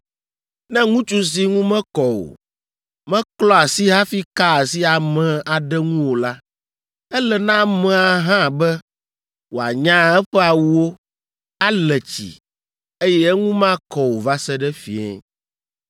“ ‘Ne ŋutsu si ŋu mekɔ o, meklɔ asi hafi ka asi ame aɖe ŋu o la, ele na amea hã be wòanya eƒe awuwo, ale tsi, eye eŋu makɔ o va se ɖe fiẽ.